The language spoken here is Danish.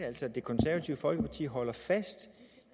altså at det konservative folkeparti holder fast